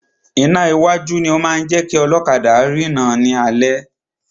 Iná iwájú ni o máa ń jẹ́ kí ọlọ́kadà rina ni alẹ́.